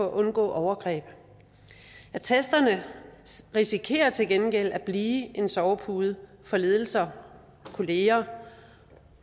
undgå overgreb attesterne risikerer til gengæld at blive en sovepude for ledelser og kolleger